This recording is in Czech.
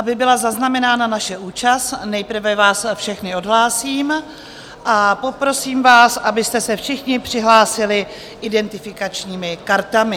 Aby byla zaznamenána naše účast, nejprve vás všechny odhlásím a poprosím vás, abyste se všichni přihlásili identifikačními kartami.